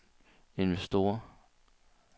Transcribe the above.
investorer